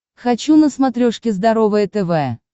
хочу на смотрешке здоровое тв